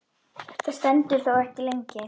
Þetta stendur þó ekki lengi.